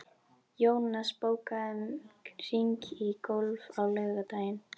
Jónas, bókaðu hring í golf á laugardaginn.